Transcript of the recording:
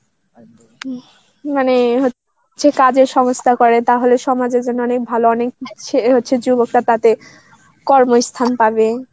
মানে হচ্ছে কাজের সংস্থা করে তাহলে সমাজের জন্য অনেক ভালো অনেক অ্যাঁ হচ্ছে যুবকরা তাতে কর্মস্থান পাবে